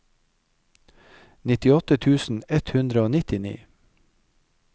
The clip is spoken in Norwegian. nittiåtte tusen ett hundre og nittini